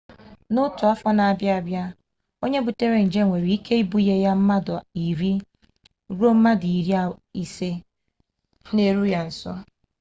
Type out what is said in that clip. na otu afo n'abia abia onye butara nje nwere ibunye ya mmadu 10 ruo 15 n'eru ya nso